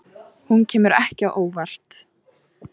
Hún kemur ekki á óvart